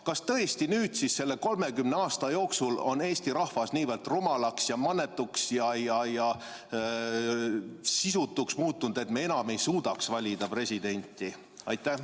Kas tõesti selle 30 aasta jooksul on eesti rahvas niivõrd rumalaks, mannetuks ja sisutuks muutunud, et me enam ei suudaks valida presidenti?